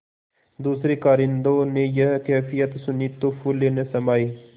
दूसरें कारिंदों ने यह कैफियत सुनी तो फूले न समाये